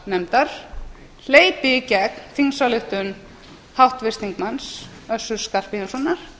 formaður háttvirtrar utanríkismálanefndar hleypi í gegn þingsályktun háttvirts þingmanns össurar skarphéðinssonar